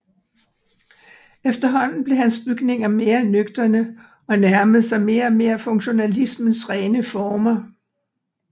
Efterhånden blev hans bygninger mere nøgterne og nærmerede sig mere og mere funktionalismens rene former